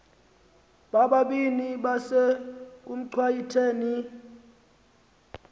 bobabini besekuchwayite ni